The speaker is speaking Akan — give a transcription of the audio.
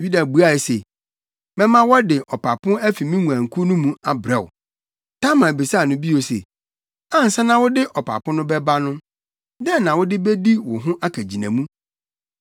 Yuda buae se, “Mɛma wɔde ɔpapo afi me nguankuw no mu abrɛ wo.” Tamar bisaa no bio se, “Ansa na wode ɔpapo no bɛba no, dɛn na wode bedi wo ho akagyinamu?”